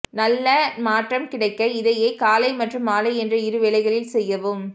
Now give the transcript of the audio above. நல்ல மாற்றம் கிடைக்க இதையே காலை மற்றும் மாலை என்ற இரு வேளைகளில் செய்யவும்